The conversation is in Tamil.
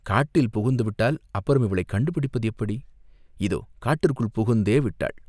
காட்டில் புகுந்துவிட்டால் அப்புறம் அவளக் கண்டுபிடிப்பது எப்படி, இதோ காட்டிற்குள் புகுந்தே விட்டாள்.